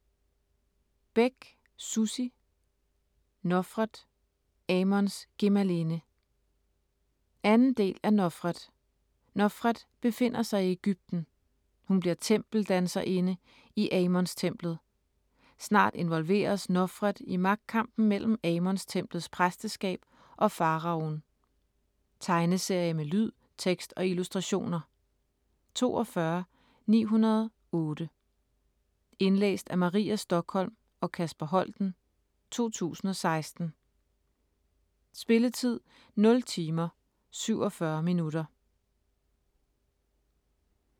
Bech, Sussi: Nofret - Amons gemalinde 2. del af Nofret. Nofret befinder sig i Ægypten. Hun bliver tempeldanserinde i Amonstemplet. Snart involveres Nofret i magtkampen mellem Amonstemplets præsteskab og Faraoen. Tegneserie med lyd, tekst og illustrationer 42908 Indlæst af Maria Stokholm og Kasper Holten, 2016. Spilletid: 0 timer, 47 minutter.